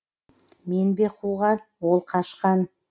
мен бе қуған ол қашқан